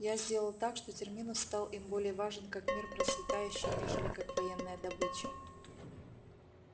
я сделал так что терминус стал им более важен как мир процветающий нежели как военная добыча